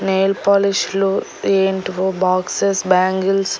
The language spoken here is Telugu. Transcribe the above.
నెయిల్ పాలిష్ లు ఎయింటివో బాక్సెస్ బ్యాంగిల్స్ --